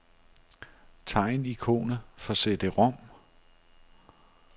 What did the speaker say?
Tegn ikonet for cd-rom.